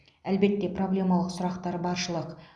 әлбетте проблемалық сұрақтар баршылық